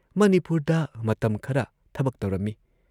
ꯃꯅꯤꯄꯨꯔꯗ ꯃꯇꯝ ꯈꯔ ꯊꯕꯛ ꯇꯧꯔꯝꯏ ꯫